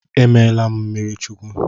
E meela m mmiri Chukwu.